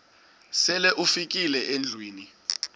sele ufikile endlwini